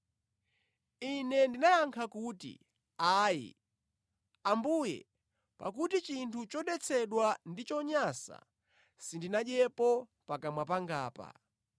“Ine ndinayankha kuti, ‘Ayi, Ambuye! Pakuti chinthu chodetsedwa ndi chonyansa sindinadyepo pakamwa pangapa.’